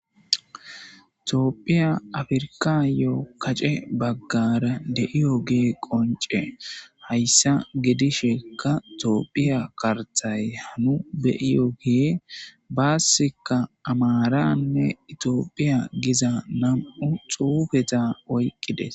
Toopphiya afirkayo kacce baggara deiyo gee qonce hayssa gedishekka toopphiya kartay hanu beiyo gee baassika amaranne itiophiya giza nam'u xuufeta oyqqides